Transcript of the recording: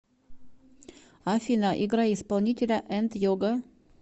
афина играй исполнителя энд йога